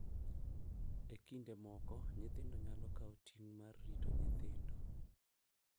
E kinde moko, nyithindo nyalo kawo ting’ mar rito nyithindo,